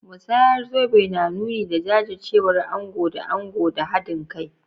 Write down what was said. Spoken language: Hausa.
Musayar zobe na nuni da jajircewar ango da ango da hadin kai.